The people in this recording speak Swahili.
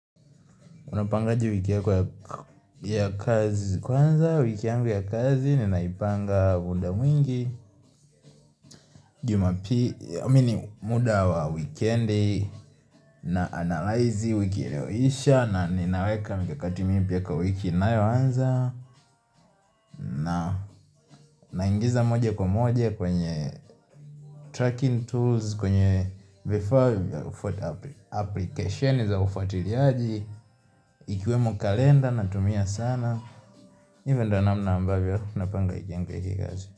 Unapangaje wiki yako ya kazi kwanza wiki yangu ya kazi ninaipanga mda mwingi jumapi amini muda wa weekend na analaizi wiki ilioisha na ninaweka mikakati mimpya kwa wiki inayoanza na ingiza moja kwa moja kwenye tracking tools kwenye before ufati application ufati liaji ikiwemo kalenda natumia sana nye menda na mna amba vyo napanga wiki yangu ya kika zi.